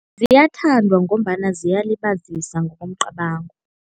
Ziyathandwa ngombana ziyalibazisa ngokomcabango.